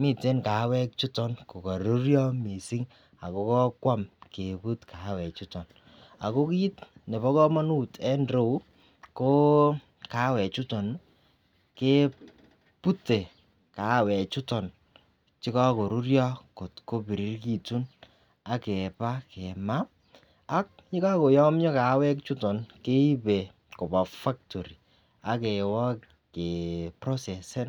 miten kaawek chuton konororyo missing ako kobwam Kebut kaawek chuton ako kit nebo komonut en irou ko kaawek chuton nii kebute kaawek chuton chekokoruryo kotkopirirekitun ak keba kemaa ak yekokoyomyo kaawek chuton keribe koba factory akewa ke procesenin